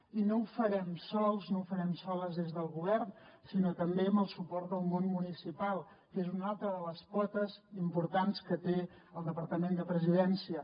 i no ho farem sols no ho farem soles des del govern sinó també amb el suport del món municipal que és una altra de les potes importants que té el departament de presidència